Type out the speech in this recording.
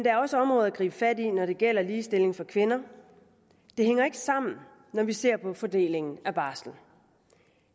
er også områder at gribe fat i når det gælder ligestilling for kvinder det hænger ikke sammen når vi ser på fordelingen af barslen